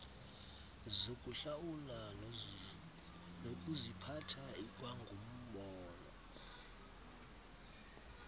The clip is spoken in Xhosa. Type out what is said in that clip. zokuhlawula nokuziphatha ikwangumbono